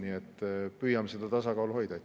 Nii et püüame seda tasakaalu hoida.